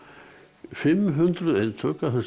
fimm hundruð eintök af þessari